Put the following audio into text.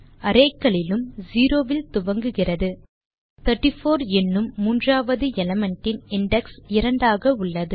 array களிலும் 0 இல் துவங்குகிறது 34 என்னும் மூன்றாவது எலிமெண்ட் இன் இண்டெக்ஸ் 2 ஆக உள்ளது